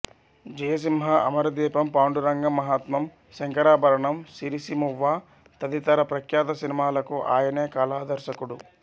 జయసింహ అమరదీపం పాండురంగ మహత్మ్యం శంకరాభరణం సిరిసిరిమువ్వ తదితర ప్రఖ్యాత సినిమాలకు ఆయనే కళాదర్శకుడు